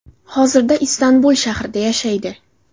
Hozirda Istanbul shahrida yashaydi.